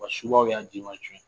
Wa subaw y'a denman suɲɛ.